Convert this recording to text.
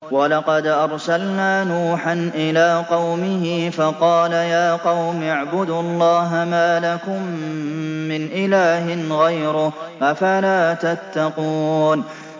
وَلَقَدْ أَرْسَلْنَا نُوحًا إِلَىٰ قَوْمِهِ فَقَالَ يَا قَوْمِ اعْبُدُوا اللَّهَ مَا لَكُم مِّنْ إِلَٰهٍ غَيْرُهُ ۖ أَفَلَا تَتَّقُونَ